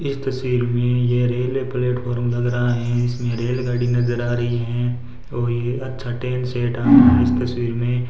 इस तस्वीर में ये रेलवे प्लेटफार्म लग रहा है इसमें रेलगाड़ी नजर आ रही हैं और ये अच्छा ट्रेन सेट आ रहा है इस तस्वीर में।